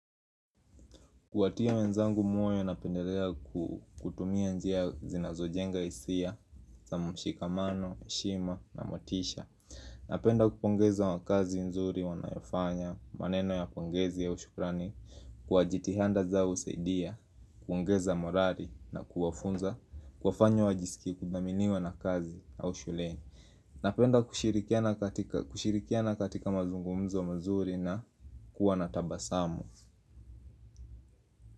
Kuwatia wenzangu moyo napendelea kutumia njia zinazojenga hisia za mshikamano, heshima na motisha. Napenda kupongeza wa kazi nzuri wanayofanya, maneno ya pongezi au shukrani, kwa jitihanda zao husaidia, kuongeza morali na kuwafunza, kuwafanya wajisikie kuthaminiwa na kazi au shuleni. Napenda kushirikiana katika mazungumzo mazuri na kuwa na tabasamu.